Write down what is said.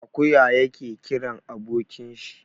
Akuya yake kiran abokin shi.